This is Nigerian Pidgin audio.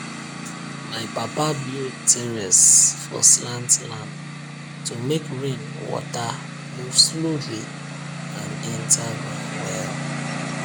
my papa build terrace for slant land to make rain water move slowly and enter ground well